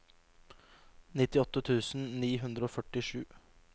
nittiåtte tusen ni hundre og førtisju